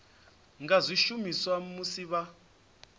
nga zwi shumisa musi vha